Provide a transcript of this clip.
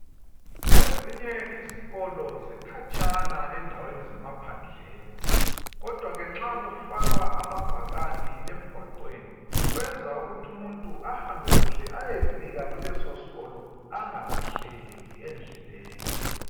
Ezinye izikolo zikhatshana endaweni zemaphandleni kodwa ke nxa kufakwa amabhakani emgwaqweni kwenza ukuthi umuntu ahambe kuhle ayefika kulesosikolo angalahleki endleleni.